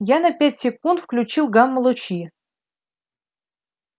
я на пять секунд включил гамма-лучи